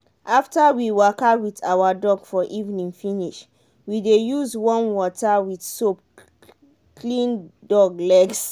after we waka with our dog for evening finish we dey use warm water with soap clean dog legs.